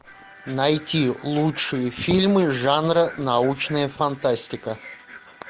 найти лучшие фильмы жанра научная фантастика